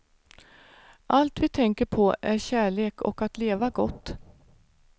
Allt vi tänker på är kärlek och att leva gott.